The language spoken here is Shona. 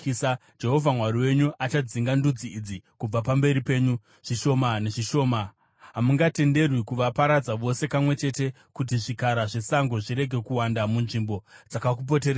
Jehovha Mwari wenyu achadzinga ndudzi idzi kubva pamberi penyu, zvishoma nezvishoma. Hamungatenderwi kuvaparadza vose kamwe chete, kuti zvikara zvesango zvirege kuwanda munzvimbo dzakakupoteredzai.